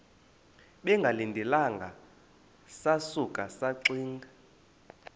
bengalindelanga sasuka saxinga